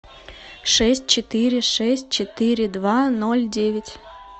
шесть четыре шесть четыре два ноль девять